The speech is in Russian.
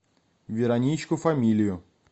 вероничку фамилию